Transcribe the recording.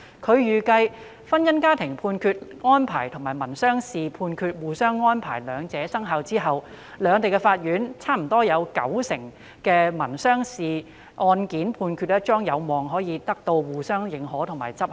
她預計，婚姻家庭民事案件判決的互認安排與民商事案件判決的互認安排生效後，兩地法院約九成的民商事案件判決將有望得到相互認可和執行。